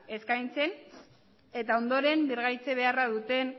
eskaintzen eta ondoren birgaitze beharra duten